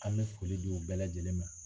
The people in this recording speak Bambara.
An bɛ foli di u bɛɛ lajɛlen ma